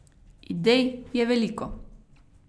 Idej je veliko.